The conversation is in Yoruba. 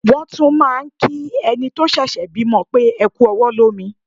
Wọ́n tún máà ń kí ẹni tó ṣẹ̀ṣẹ̀ bímọ pé "ẹ kú ọwọ́ lómi".